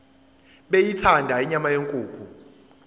beyithanda inyama yenkukhu